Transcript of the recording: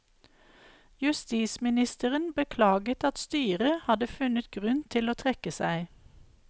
Justisministeren beklaget at styret hadde funnet grunn til å trekke seg.